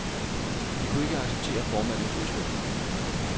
De kunne ikke acceptere formandens udspil.